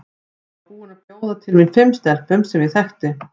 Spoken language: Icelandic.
Ég var búin að bjóða til mín fimm stelpum sem ég þekki.